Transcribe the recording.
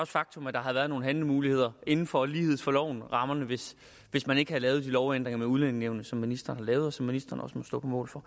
faktum at der har været nogle handlemuligheder inden for lighed for loven rammerne hvis hvis man ikke havde lavet de lovændringer med udlændingenævnet som ministeren har lavet og som ministeren også må stå på mål for